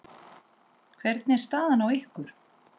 Hvernig er staðan á ykkur?